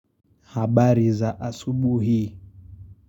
Habari za asubuhi.